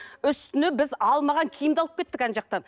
үстіне біз алмаған киімді алып кеттік ана жақтан